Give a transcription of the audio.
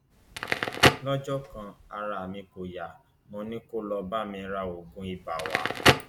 lọjọ kan ara mi kò yá mo ní kó lọọ bá mi ra oògùn ibà wa